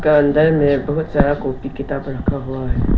का अंदर में बहुत सारा कॉपी किताब रखा हुआ है।